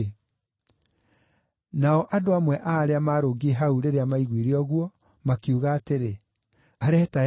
Nao andũ amwe a arĩa maarũngiĩ hau rĩrĩa maiguire ũguo, makiuga atĩrĩ, “Areeta Elija.”